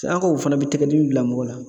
Se an ka o fana be tɛgɛ dimi bila mɔgɔ la.